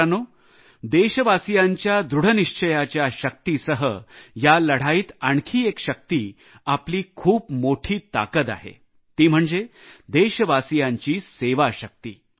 मित्रांनो देशवासीयांच्या दृढनिश्चयाच्या शक्तीसह या लढाईत आणखी एक शक्ती आपली खूप मोठी ताकद आहे ती म्हणजे देशवासीयांची सेवाशक्ती